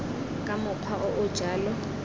ka mokgwa o o jalo